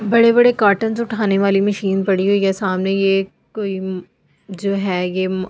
बड़े-बड़े कर्टंस उठाने वाली मशीन पड़ी हुई है सामने यह कोई जो है ये--